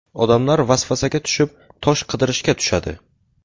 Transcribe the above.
Odamlar vasvasaga tushib, ‘tosh’ qidirishga tushadi.